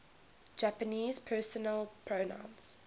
japanese personal pronouns